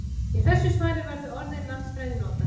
Í þessu svari verður orðið landfræði notað.